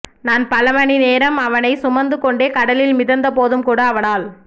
நான் பலமணி நேரம் அவனைச் சுமந்து கொண்டே கடலில் மிதந்த போதும் கூட அவனால்